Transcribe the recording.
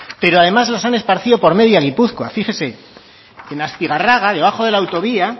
pero además las han esparcido por media gipuzkoa fíjese en astigarraga debajo de la autovía